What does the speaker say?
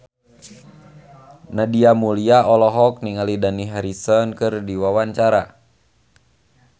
Nadia Mulya olohok ningali Dani Harrison keur diwawancara